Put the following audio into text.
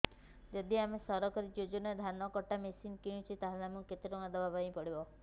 ଯଦି ଆମେ ସରକାରୀ ଯୋଜନାରେ ଧାନ କଟା ମେସିନ୍ କିଣୁଛେ ତାହାଲେ ଆମକୁ କେତେ ଟଙ୍କା ଦବାପାଇଁ ପଡିବ